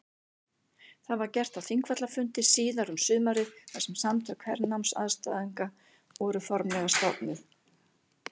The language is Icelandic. Það var gert á Þingvallafundi síðar um sumarið þar sem Samtök hernámsandstæðinga voru formlega stofnuð.